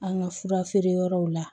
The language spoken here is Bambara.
An ka fura feere yɔrɔw la